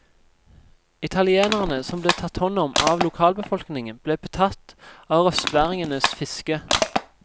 Italienerne som ble tatt hånd om av lokalbefolkningen, ble betatt av røstværingenes fiske.